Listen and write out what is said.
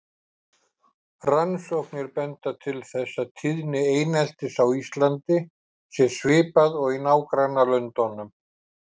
Rannsóknir benda til þess að tíðni eineltis á Íslandi sé svipuð og í nágrannalöndunum.